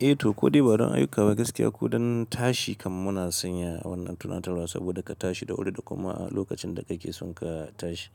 Eh to ko dai barin ayuka ba gaskiya koh don tashi kam muna sanya wannan tunatarwa saboda ka tashi da wuri da kuma lokacin da kake son ka tashi.